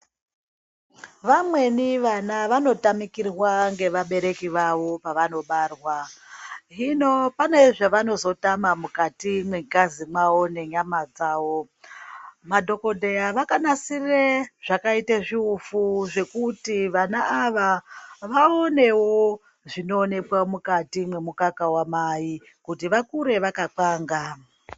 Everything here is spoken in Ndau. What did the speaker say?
Vamweni vana vanotamikirwaa ngevabereki vavo pavanobarwaa. Hino pane zvavanozotama mukati mwengazi mavo ngenyama dzavo. Madhokodheyaa vakanasirire zvakaita zviufuu zvekuti vana ava vaonewo zvinoonekwaa mukati memukaka wamai kuti vakure vakapangaa.